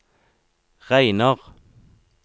regner